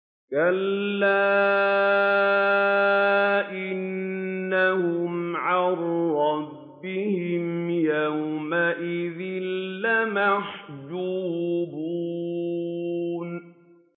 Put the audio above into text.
كَلَّا إِنَّهُمْ عَن رَّبِّهِمْ يَوْمَئِذٍ لَّمَحْجُوبُونَ